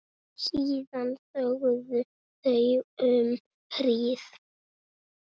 Síðan þögðu þau um hríð.